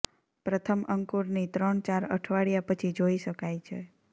પ્રથમ અંકુરની ત્રણ ચાર અઠવાડિયા પછી જોઇ શકાય છે